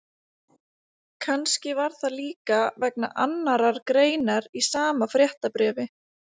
Kannski var það líka vegna annarrar greinar í sama fréttabréfi.